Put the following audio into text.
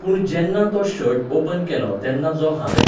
पूण जेन्ना तो शर्ट ओपन केलो तेन्ना जो हांवें